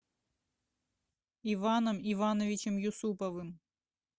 иваном ивановичем юсуповым